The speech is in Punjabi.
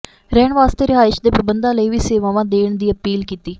ਰਹਿਣ ਵਾਸਤੇ ਰਿਹਾਇਸ਼ ਦੇ ਪ੍ਰਬੰਧਾਂ ਲਈ ਵੀ ਸੇਵਾਵਾਂ ਦੇਣ ਦੀ ਅਪੀਲ ਕੀਤੀ